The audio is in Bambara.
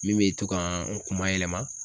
Min bɛ to ka n kuma yɛlɛma.